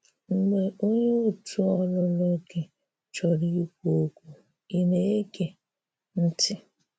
Mgbe onyé òtù̀ ọlụ̀lụ̀ gị chọ̀rọ ikwù okwu, ị̀ na-egè ntị?